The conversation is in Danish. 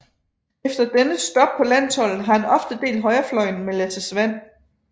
Efter dennes stop på landsholdet har han oftest delt højrefløjen med Lasse Svan